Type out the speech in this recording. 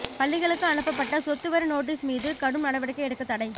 பள்ளிகளுக்கு அனுப்பப்பட்ட சொத்துவரி நோட்டீஸ் மீது கடும் நடவடிக்கை எடுக்க தடை